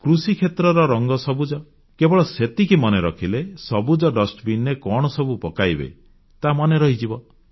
କୃଷିକ୍ଷେତ୍ରର ରଙ୍ଗ ସବୁଜ କେବଳ ସେତିକି ମନେ ରଖିଲେ ସବୁଜ ଡଷ୍ଟବିନ୍ ରେ କଣ ସବୁ ପକାଇବେ ତାହା ମନେ ରହିଯିବ